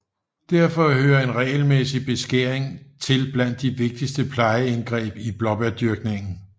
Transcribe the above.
Derfor hører en regelmæssig beskæring til blandt de vigtigste plejeindgreb i blåbærdyrkningen